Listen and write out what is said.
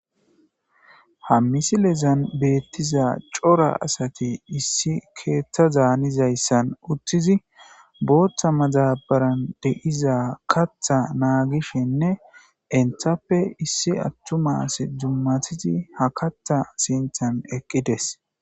Ha misilezan beettiza cora asati issi keeththa zaanizayssan uttizi booththa mazabaran de'iza katha naagishenne enthappe issi attumas dummatizi ha katha sinthan eqqides.